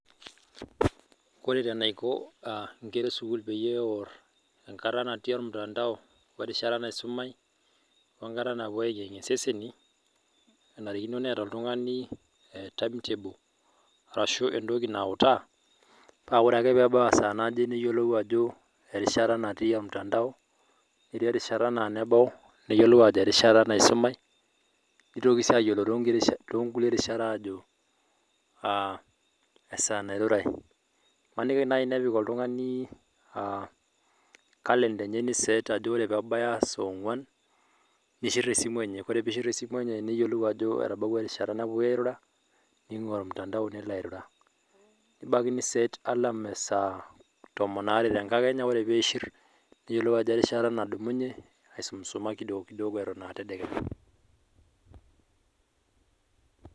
Ore eneiko ingera esukul teneor enkata natii olmutandao werishata naisumai wenkata napuo ayengiyengie iseseni enarikino neeta oltung'ani timetable arashu entoki nautaa naa orake peebau esaa naje niyiolou ajo erishata natii omtandao netii erishata naa enebau niyiolou ajo erishata naisumai nitoki sii aayiolou toonkulie rishat aajo aa esaa nairurai Imaniki nai nepik oltungani aa enkalenda enye niset ajo tenebaya saa ong'wan nishir esimu enye Ore piishir esimu enye niyiolou ajo etabawua erishata napuoi airura ningwaa olmutandao nilo airura Nebaiki niset alarm esaa tomon aare tenkakenya ore piishir neyiolou ajo erishata nadumunye aisumisuma kidogo kidogo eton aa tadekenya